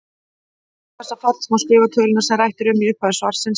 Með hjálp þessa falls má skrifa töluna sem rætt er um í upphafi svarsins sem